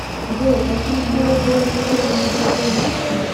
джой а фильм холоп был номинирован на золотую маску